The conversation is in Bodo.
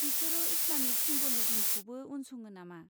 बिसोरो इस्लामिक सिमब'लिज्मखौबो उनसङो नामा?